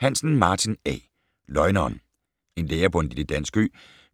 Hansen, Martin A.: Løgneren En lærer på en lille dansk ø